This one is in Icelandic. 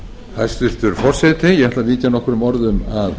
ætla að víkja nokkrum orðum að